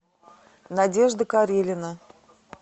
надежда карелина